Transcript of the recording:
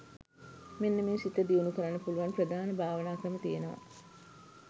මෙන්න මේ සිත දියුණු කරන්න පුළුවන් ප්‍රධාන භාවනා ක්‍රම තියෙනවා.